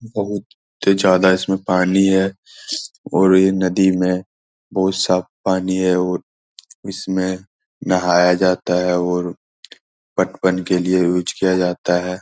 बहुत ज्यादा इसमें पानी हैं और ये नदी में बहुत साफ पानी है और इसमें नहाया जाता है और पटवन के लिए यूज़ किया जाता है।